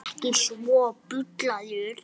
Nei, ekki svo.